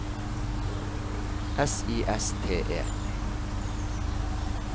S I S T E